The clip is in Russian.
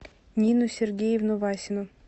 нину сергеевну васину